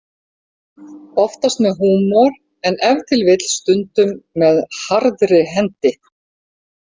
Oftast með húmor en ef til vill stundum með harðri hendi.